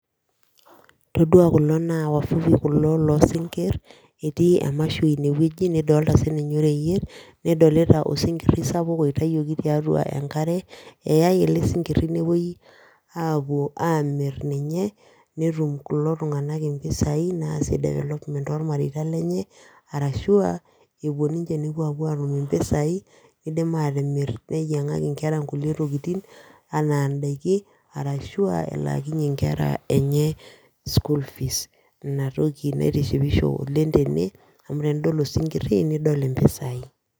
Itodua kulo naa wavuvi kulo loo sinkir etii emasho ine wueji nidolta sii ninye oreyiet, sapuk oitayioki tiatua enkare, eyae ele sinkiri nepuoi aapuo amir ninye, netum kulo tunganak mpisai naasie development tolmatrita lenye, arashu epuo ninche nepuo apuo atum mpisai dim aatimir ninyiangaki nkera nkulie tokitin anaa idaikin ashu, wlaakinye nkera enye school fees Ina toki naitishipisho oleng tene, amu tenidol osinkiri nidol mpisai.